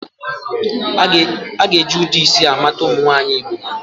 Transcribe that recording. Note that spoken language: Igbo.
A ga-eji ụdị isi a mata ụmụ nwaanyị Igbo